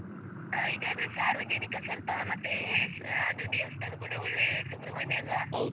ಹ ಇದಾದ್ರೆ ಸಾರ್ವಜನಿಕ. ಸ್ವಲ್ಪ ಮತ್ತೆ ಅದು ದೇವಸ್ಥಾನ ಕೂಡ ಒಳ್ಳೇ ಸುಬ್ರಹ್ಮಣ್ಯ ಅಲ್ಲ?